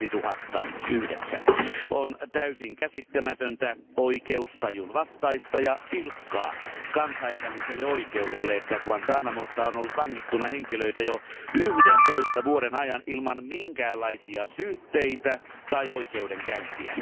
2009. On täysin käsittämätöntä, oikeustajun vastaista ja pilkkaa kansainväliselle oikeudelle, että Guantánamossa on ollut vangittuna henkilöitä jo 11 vuoden ajan ilman minkäänlaisia syytteitä tai oikeudenkäyntiä.